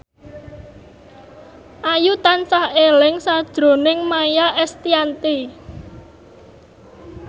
Ayu tansah eling sakjroning Maia Estianty